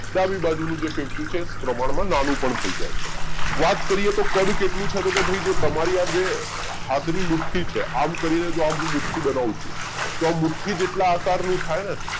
ડાબી બાજુ નું જે ફેફસું છે એ પ્રમાણમાં નાનું પણ થઇ જાય છે વાત કરીએ તો કદ કેટલું છે તો ભાઈ જે તમારા આ જે હાથની મુઠ્ઠી છે આમ કરીએ જો આ મુઠ્ઠી બનાવું છે તો આ મુઠ્ઠી જેવા આકારનું થાય ને